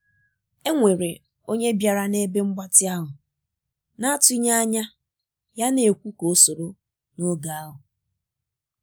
e nwere onye bịara na ebe mgbatị ahụ na atụghị anya ya na ekwu ka o soro n'oge ahu